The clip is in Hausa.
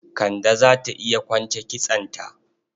Kande za ta iya kwance kitsonta.